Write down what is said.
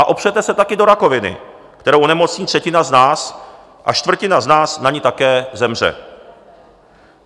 A opřete se taky do rakoviny, kterou onemocní třetina z nás a čtvrtina z nás na ni také zemře.